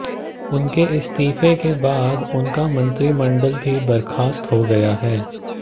उनके इस्तीफे के बाद उनका मंत्रिमंडल भी बर्खास्त हो गया है